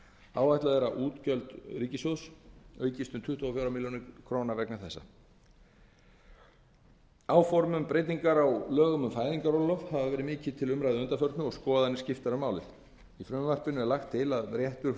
áætlað er að útgjöld ríkissjóðs aukist um tuttugu og fjórar milljónir króna vegna þessa breytingar á lögum um fæðingarorlof áform um breytingar á lögum um fæðingarorlof hafa verið mikið til umræðu að undanförnu og skoðanir skiptar um málið í frumvarpinu er lagt til að réttur